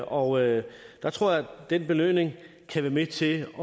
og der tror jeg at den belønning kan være med til at